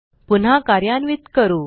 पुन्हा कार्यान्वित करू